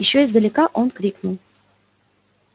ещё издалека он крикнул